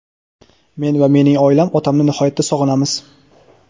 men va mening oilam otamni nihoyatda sog‘inamiz.